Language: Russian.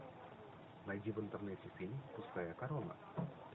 найди в интернете фильм пустая корона